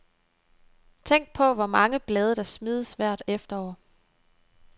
Tænk på, hvor mange blade der smides hvert efterår.